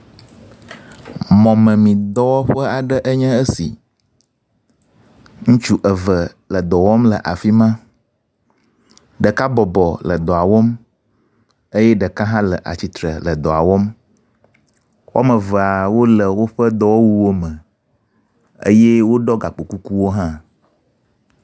Mɔmemi dɔwɔƒe aɖee nye esi. Ŋutsu eve le dɔ wɔm le afi ma, ɖeka bɔbɔ le dɔa wɔm eye ɖeka hã le atsitre le dɔa wɔm. Woame ve wole woƒe dɔwɔwuwo me eye woɖɔ gakpokukuwo hã.